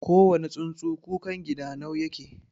kowane tsuntsu kukangidanau yake